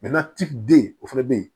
den o fana bɛ ye